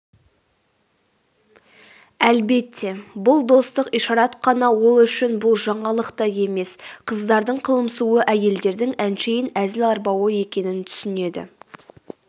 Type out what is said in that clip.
әлбетте бұл достық ишарат қана ол үшін бұл жаңалық та емес қыздардың қылымсуы әйелдердің әншейін әзіл-арбауы екенін түсінеді